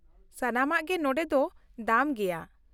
ᱥᱟᱱᱟᱢᱟᱜ ᱜᱮ ᱱᱚᱸᱰᱮ ᱫᱚ ᱫᱟᱢ ᱜᱮᱭᱟ ᱾